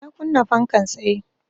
Na kunna fankan tsaye